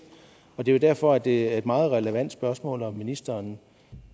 det er derfor det er et meget relevant spørgsmål om ministeren